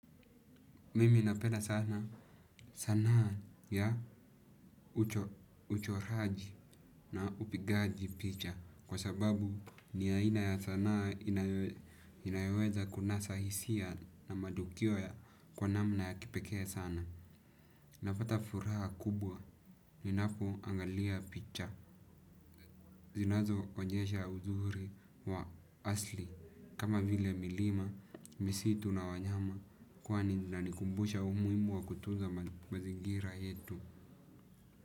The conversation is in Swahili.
Mimi napenda sana sanaa ya uchoraji na upigaji picha kwa sababu ni aina ya sanaa inayoweza kunasa hisia na matukio ya kwa namna ya kipekee sana. Napata furaha kubwa ninapo angalia picha zinazo onyesha uzuri wa asli kama vile milima, misitu na wanyama kwani zinanikumbusha umuhimu wa kutunza mazingira yetu.